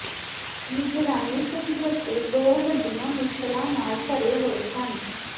ਨਿਗਰਾਨੀ ਸਮਝੌਤੇ ਦੋ ਵੱਡੀਆਂ ਮੁਸ਼ਕਲਾਂ ਨਾਲ ਭਰੇ ਹੋਏ ਸਨ